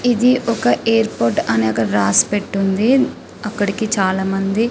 ఇది ఒక ఎయిర్పోర్ట్ అని అక్కడ రాసి పెట్టి ఉంది అక్కడికి చాల మంది --